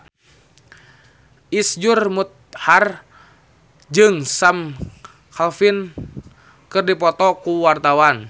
Iszur Muchtar jeung Sam Claflin keur dipoto ku wartawan